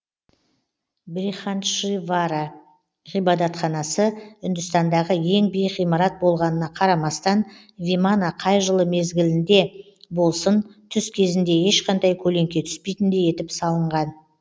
брихандишвара ғибадатханасы үндістандағы ең биік ғимарат болғанына қарамастан вимана қай жыл мезгілінде болсын түс кезінде ешқандай көлеңке түспейтіндей етіп салынған